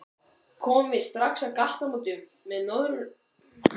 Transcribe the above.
Komum við strax að gatnamótum með norðurljósum